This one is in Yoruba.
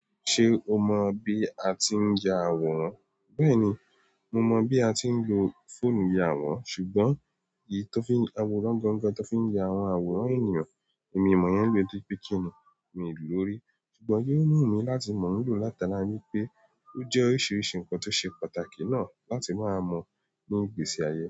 Ṣe o mọ bi a ti n ya àwòrán? Bẹ́ẹ̀ni, mo mọ bí a ti ń lo fóònù ya àwòrán ṣùgbọ́n èyí tan fi n–àwòrán gangan tan fi ń ya àwọn àwòrán ènìyàn èmi ò mọ̀ iyẹn ló nítorípé kini mi lòó rí. Ṣùgbọ́n yóò wùn mi láti mọ̀ ọ́ lò látara wípé ó jẹ́ oríṣiríṣi ǹkan tó ṣe pàtàkì náà láti máa mọ̀ ní ìgbésí ayé.